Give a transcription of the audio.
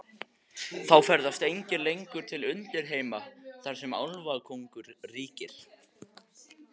Þá ferðast engir lengur til undirheima, þar sem álfakóngur ríkir.